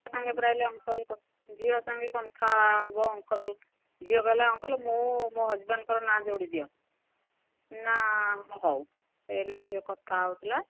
ସାଙ୍ଗେ ପରା ଏଇଲେ uncle ଝିଅ ସାଙ୍ଗେ କଥା ହବ uncle ଝିଅ କହିଲା uncle ମୁଁ ମୋ husband ଙ୍କ ନାଁ ଯୋଡି ଦିଅ ନା ହଁ ହଉ ଏଇଲେ ଝିଅ କଥା ହଉଥିଲା